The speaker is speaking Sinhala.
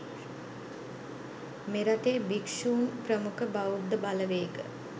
මෙරටේ භික්ෂුන් ප්‍රමුඛ බෞද්ධ බලවේග